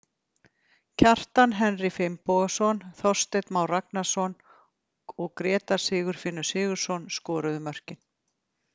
Kjartan Henry Finnbogason, Þorsteinn Már Ragnarsson og Grétar Sigfinnur Sigurðarson skoruðu mörkin.